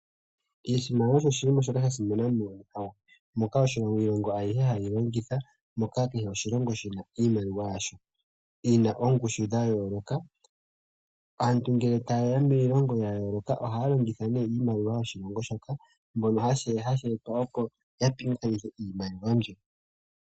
Oshimaliwa osho shimwe shasimana moonkalamweyo. Moka iilongo ayihe hayi yi longitha, moka kehe oshilongo shina iimaliwa yasho yina ongushu dha yooloka. Aantu ngele ta yeya miilongo ya yooloka, ohaya longitha nee iimaliwa yoshilongo shoka. Mbono ha sheetwa opo ya pingathanithe iimaliwa mbyo.